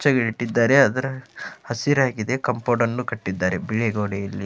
ಬೆಚ್ಚಗೆ ಇಟ್ಟಿದಾರೆ ಅದರ ಹಸಿರಾಗಿದೆ ಕಾಂಪೌಂಡ್ ಅನ್ನು ಕಟ್ಟಿದಾರೆ ಬಿಳಿ ಗೊಡೆಯಲ್ಲಿ.